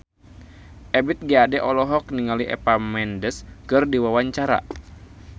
Ebith G. Ade olohok ningali Eva Mendes keur diwawancara